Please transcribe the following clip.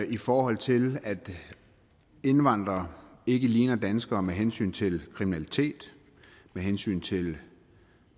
i forhold til at indvandrere ikke ligner danskere med hensyn til kriminalitet med hensyn til